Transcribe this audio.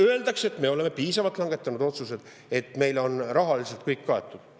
Öeldakse, et me oleme piisavalt otsuseid langetanud, et meil on rahaliselt kõik kaetud.